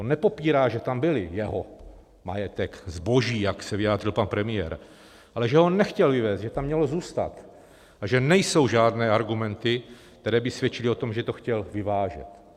On nepopírá, že tam byly, jeho majetek, zboží, jak se vyjádřil pan premiér, ale že ho nechtěl vyvézt, že tam mělo zůstat a že nejsou žádné argumenty, které by svědčily o tom, že to chtěl vyvážet.